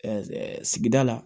sigida la